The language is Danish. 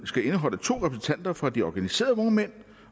skal have to repræsentanter for de organiserede vognmand